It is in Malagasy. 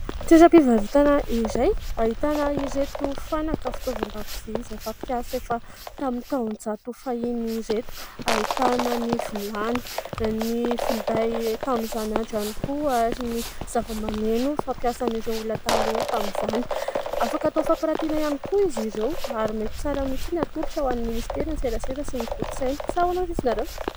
Toeram-pivarotana iray ahitana ireto fanaka fitaovan-dakozia, izay fampiasa efa tamin'ny taon-jato fahiny ireto ; ahitana ny vilany, ny finday tamin'izany andro ihany koa, ary ny zava-maneno fampiasan'ireo olona taloha tamin'izany. Afaka atao fampirantiana ihany koa izy ireo ary mety tsara mihitsiny atolotra ho an'ny Ministeran'ny serasera sy ny kolontsaina. Sa ahoana hoy izy ianareo ?